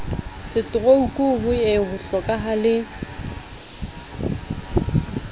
setorouku ho ye ho hlokahale